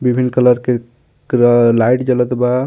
Green colour के पूरा light जलत बा.